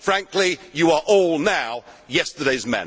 model. Frankly, you are all now yesterday's